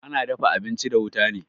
Ana dafa abinchi da wuta ne